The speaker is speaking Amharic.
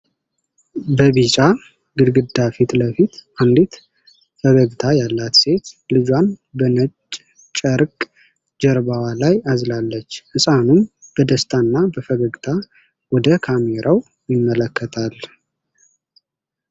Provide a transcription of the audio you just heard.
በቢጫ ግድግዳ ፊት ለፊት አንዲት ፈገግታ ያላት ሴት ልጇን በነጭ ጨርቅ ጀርባዋ ላይ አዝላለች። ሕፃኑም በደስታ እና በፈገግታ ወደ ካሜራው ይመለከታል።